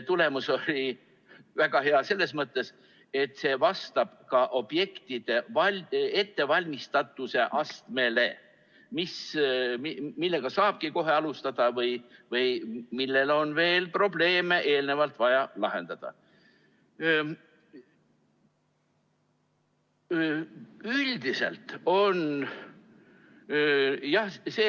Tulemus on väga hea selles mõttes, et see vastab ka objektide ettevalmistatuse astmele, vaadati, millega saabki kohe alustada või kus on veel eelnevalt probleeme vaja lahendada.